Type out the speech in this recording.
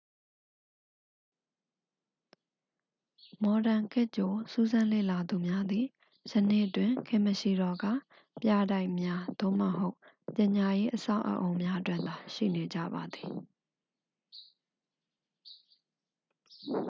မော်ဒန်ခေတ်ကြို စူးစမ်းလေ့လာသူများသည် ယနေ့တွင် ခေတ်မရှိတော့ကာ ပြတိုက်များ သို့မဟုတ် ပညာရေးအဆောက်အအုံများတွင်သာ ရှိနေကြပါသည်